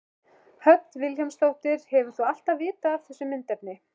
Hödd Vilhjálmsdóttir: Hefur þú alltaf vitað af þessu myndefni?